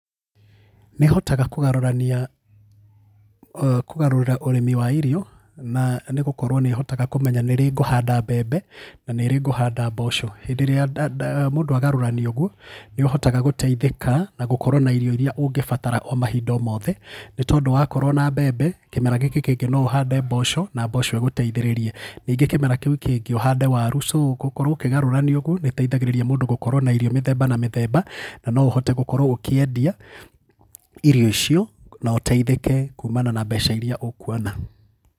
Nĩhotaga kũgarũrania, kũgarũrĩra ũrĩmi wa irio na nĩ gũkorwo nĩhotaga kũmenya nĩ rĩ ngũhanda mbembe na nĩ rĩ ngũhanda mboco. Hĩndĩ ĩrĩa mũndũ agarũrania ũguo nĩ ũhotaga gũtheithĩka na gũkorwo na irio iria ũngĩbatara o mahinda o mothe, nĩ tondũ wakorwo na mbembe, kĩmera gĩkĩ kĩngĩ no ũhande mboco na mboco ĩgũteithĩrĩrie, nĩngĩ kĩmera kĩu kĩngĩ ũhande waru so gũkorwo ũkĩgarũrania ũguo, nĩgũteithagĩrĩrĩa mũndũ gũkorwo na irio mĩthemba na mĩthemba, na no ũhote gũkorwo ũkiendia irio icio na ũteithĩke kuumana na mbeca iria ũkwona.